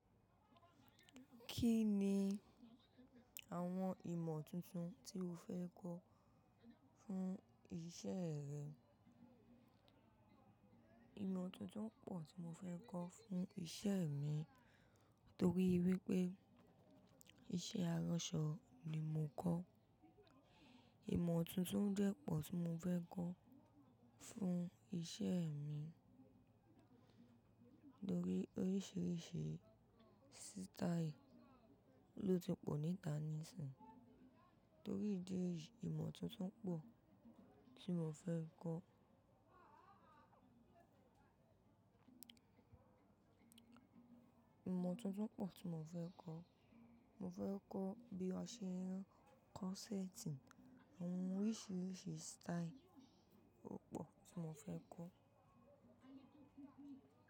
Kí ni àwọn ìmọ̀ tuntun tí o fẹ́ kọ́ fún isẹ́ rẹ? Ìmọ̀ tuntun pọ̀ tí mo fẹ́ kọ́ fún isẹ́ mi torí wípé iṣẹ́ aránsọ ni mo kọ́. Ìmọ̀ tuntun jẹ́ pọ̀ tí mo fẹ́ kọ́ fún isẹ́ mi torí oríṣìíríṣìí sítáì ló ti pọ̀ níta níìsín. Torí ìdí èyí, ìmọ̀ tuntun pọ̀ tí mo fẹ́ kọ́. Ìmọ̀ tuntun pọ̀ tí mo fẹ́ kọ́. Mo fẹ́ kọ́ bí a ṣe ń kọ́ sétìn, àwọn oríṣìíríṣìí sítáì o pọ̀ tí mo fẹ́ kọ́.